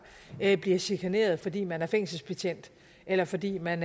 bliver chikaneret fordi man er fængselsbetjent eller fordi man